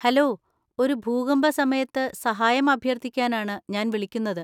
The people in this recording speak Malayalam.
ഹലോ, ഒരു ഭൂകമ്പ സമയത്ത് സഹായം അഭ്യർത്ഥിക്കാനാണ് ഞാൻ വിളിക്കുന്നത്.